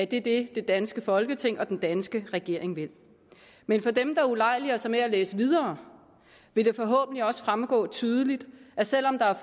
det er det det danske folketing og den danske regering vil men for dem der ulejliger sig med at læse videre vil det forhåbentlig også fremgå tydeligt at selv om der